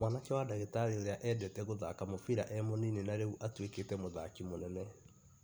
Mwanake wa dagĩtarĩ ũrĩa endete gũthaka mũbira e munini narĩu atuĩkĩte mũthaki mũnene